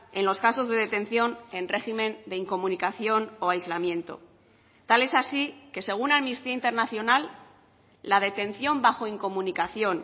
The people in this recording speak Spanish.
en los casos de detención en régimen de incomunicación o aislamiento tal es así que según amnistía internacional la detención bajo incomunicación